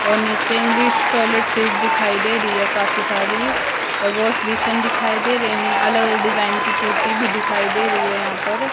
और नीचे English toilet seat दिखाई दे रही है काफी सारी और वॉश बेसिन दिखाई दे रहे हैं अलग अलग डिजाइन की टोटी भी दिखाई दे रही है यहां पर।